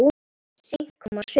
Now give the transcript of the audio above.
Seint koma sumir.